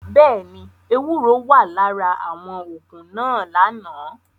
Bẹẹni, ewuro wa lara awọn oogun naa lana.